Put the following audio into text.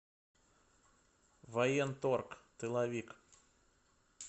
военторг тыловик